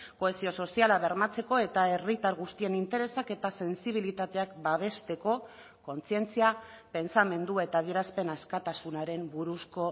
kohesio soziala bermatzeko eta herritar guztien interesak eta sentsibilitateak babesteko kontzientzia pentsamendu eta adierazpen askatasunaren buruzko